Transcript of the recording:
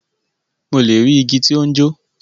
Mo le ri igi ti o n jo.